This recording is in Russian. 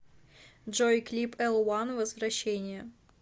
джой клип элван возвращение